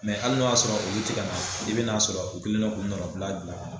Mɛ hali n'o y'a sɔrɔ olu tɛ ka na i bɛn'a sɔrɔ u kɛlen no k'u nɔnabila bila